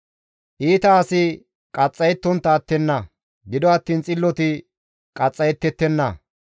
Iita asi qaxxayettontta attenna; gido attiin xilloti qaxxayettettenna.